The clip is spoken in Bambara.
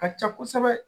Ka ca kosɛbɛ